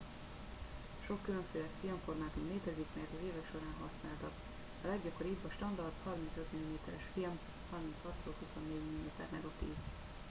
sok különféle filmformátum létezik melyet az évek során használtak. a leggyakoribb a standard 35 mm-es film 36x24 mm negatív